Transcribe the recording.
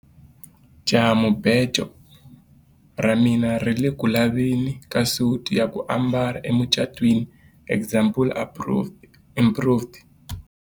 jahamubejo ra mina ri ku le ku laveni ka suti ya ku ambala emucatwiniexample improved